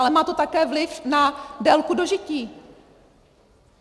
Ale má to také vliv na délku dožití.